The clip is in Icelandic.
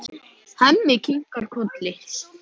Hemmi kinkar kolli.